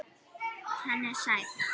Hann er sæll.